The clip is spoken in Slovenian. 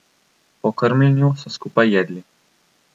Po krmljenju so skupaj jedli.